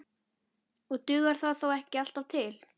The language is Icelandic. Og dugar það þó ekki alltaf til.